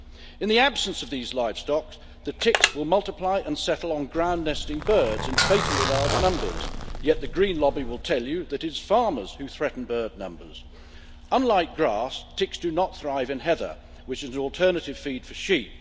In the absence of these livestock, the ticks will multiply and settle on ground nesting birds in fatally large numbers, yet the Green lobby will tell you that it's farmers who threaten bird numbers. Unlike grass, ticks do not thrive in heather, which is an alternative feed for sheep.